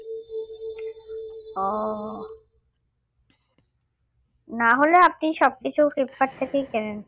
ও না হলে আপনি সবকিছু ফ্লিপকার্ট থেকেই কেনেন